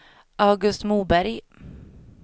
August Moberg